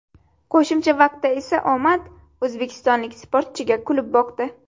Qo‘shimcha vaqtda esa omad o‘zbekistonlik sportchiga kulib boqdi.